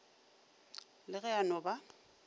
le ge a no ba